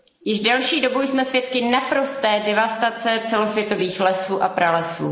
Již delší dobu jsme svědky naprosté devastace celosvětových lesů a pralesů.